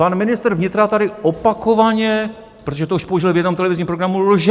Pan ministr vnitra tady opakovaně - protože to už použil v jednom televizním programu - lže.